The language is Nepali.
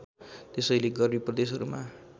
त्यसैले गर्मी प्रदेशहरूमा